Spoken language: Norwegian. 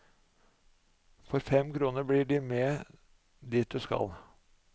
For fem kroner blir de med dit du skal.